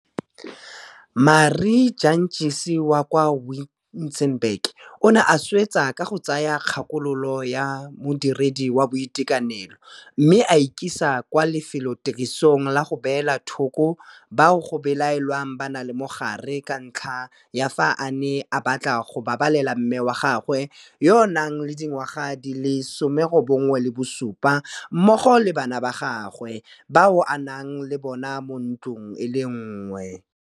Marie Jantjies wa kwa Wi-tzenberg o ne a swetsa ka go tsaya kgakololo ya modiredi wa boitekanelo mme a ikisa kwa lefelotirisong la go beela thoko bao go belaelwang ba na le mogare ka ntlha ya fa a ne a batla go babalela mme wa gagwe yo a nang le dingwaga di le 97 mmogo le bana ba gagwe bao a nnang le bona mo ntlong e le nngwe.